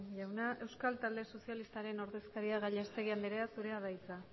jauna euskal talde sozialistaren ordezkaria gallastegui andrea zurea da hitza